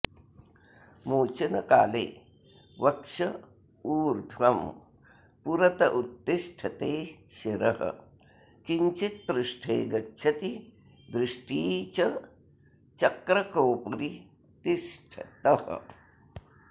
मोचनकाले वक्ष ऊर्ध्वं पुरत उत्तिष्ठते शिरः किञ्चित् पृष्ठे गच्छति दृष्टी च चक्रकोपरि तिष्ठतः